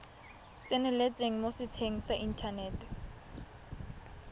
tseneletseng mo setsheng sa inthanete